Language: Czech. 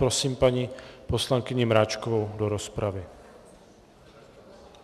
Prosím paní poslankyni Mráčkovou do rozpravy.